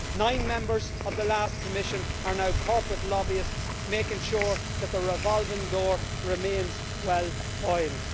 Nine members of the last Commission are now corporate lobbyists, making sure that the revolving door remains well oiled.